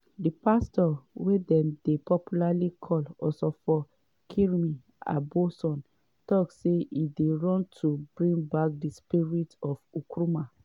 di pastor wey dem dey popularly call osofo kyiri aboson tok say e dey run to bring back di spirit of nkrumah.